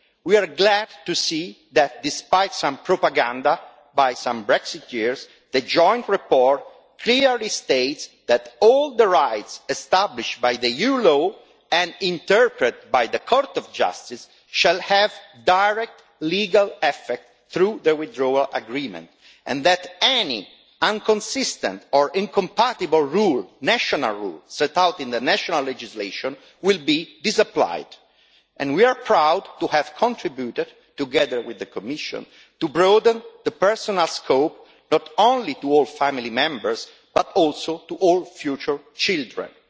We are glad to see that, despite some propaganda by some Brexiteers, the joint report clearly states that all the rights established by EU law and interpreted by the Court of Justice shall have direct legal effect through the withdrawal agreement, and that any inconsistent or incompatible rule or national rule set out in the national legislation will be disapplied. And we are proud to have contributed, together with the Commission, to broadening the personal scope not only to all family members, but also to all future children.